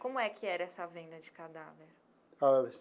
Como é que era essa venda de cadáver?